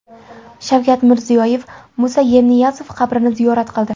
Shavkat Mirziyoyev Musa Yerniyazov qabrini ziyorat qildi.